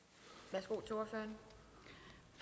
det